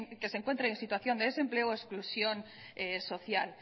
que se encuentre en situación de desempleo o exclusión social